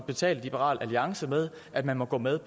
betale liberal alliance med at man må gå med